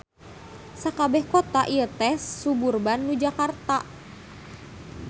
Sakabeh kota ieu teh suburban nu Jakarta.